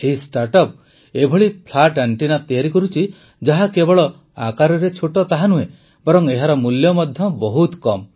ଏହି ଷ୍ଟାର୍ଟଅପ୍ ଏଭଳି flat antenna ତିଆରି କରୁଛି ଯାହା କେବଳ ଆକାରରେ ଛୋଟ ତାହା ନୁହେଁ ବରଂ ଏହାର ମୂଲ୍ୟ ମଧ୍ୟ ବହୁତ କମ୍